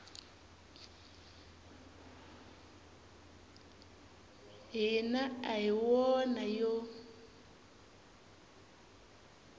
hina a hi wona yo